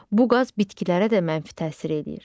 Bu qaz bitkilərə də mənfi təsir eləyir.